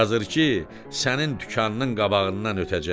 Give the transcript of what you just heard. Yazır ki, sənin dükanının qabağından ötəcək.